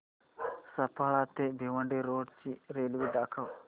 सफाळे ते भिवंडी रोड ची रेल्वे दाखव